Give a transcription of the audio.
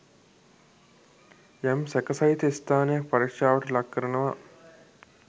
යම් සැකසහිත ස්ථානයක් පරික්ෂාවට ලක් කරනවා.